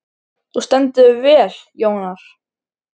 Þú stendur þig vel, Jónar!